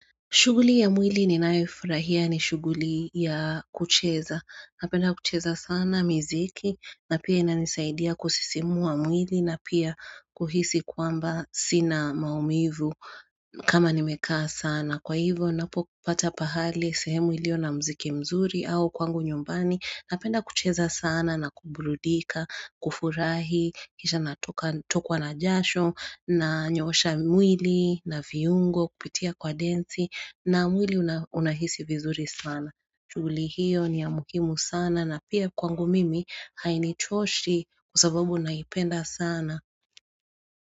Shuguli ya mwili ninayoifurahia ni shuguli ya kucheza. Napenda kucheza sana mziki na pia inanisaidia kusisimua mwili na pia kuhisi kwamba sina maumivu kama nimekaa sana. Kwa hivyo napo kupata pahali sehemu ilio na mziki mzuri au kwangu nyumbani. Napenda kucheza sana na kubudika, kufurahi, kisha natokwa na jasho na nyosha mwili na viungo kupitia kwa densi. Na mwili unahisi vizuri sana chuli hiyo ni ya muhimu sana na pia kwangu mimi hainichoshi kwa sababu naipenda sana.